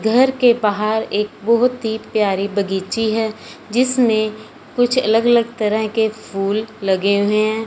घर के बाहर एक बहुत ही प्यारी बगीची है जिसमें कुछ अलग अलग तरह के फूल लगे हुए हैं।